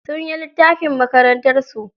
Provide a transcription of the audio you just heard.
Sunyi littafin makarantarsu.